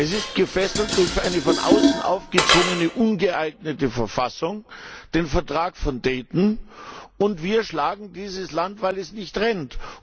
Es ist gefesselt durch eine von außen aufgezwungene ungeeignete Verfassung, den Vertrag von Dayton, und wir schlagen dieses Land, weil es nicht rennt.